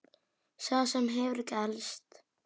Saga sem hefur ekki elst.